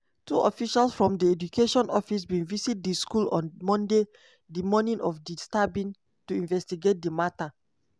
two officials from di education office bin visit di school on monday di morning of di stabbing to investigate di matter.